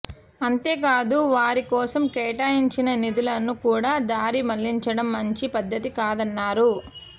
అంతేకాదు వారి కోసం కేటాయించిన నిధులను కూడా దారి మళ్లించడం మంచి పద్ధతి కాదన్నారు